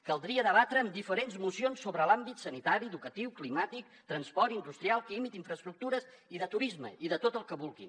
caldria debatre en diferents mocions sobre l’àmbit sanitari educatiu climàtic transport industrial químic d’infraestructures i de turisme i de tot el que vulguin